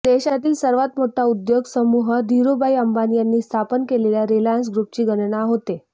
देशातील सर्वात मोठा उद्योग समूह धिरूभाई अंबानी यांनी स्थापन केलेल्या रिलायन्स ग्रूपची गणना होते